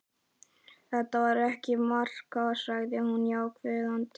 Þetta var ekki að marka, sagði hún ákveðin.